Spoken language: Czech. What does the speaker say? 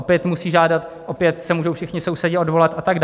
Opět musí žádat, opět se můžou všichni sousedi odvolat atd.